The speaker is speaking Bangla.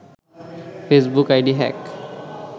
Facebook ID hack